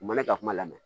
U mana ka kuma lamɛn